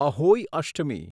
Ahoi Ashtami